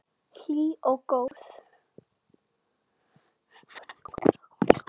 Hlý og góð.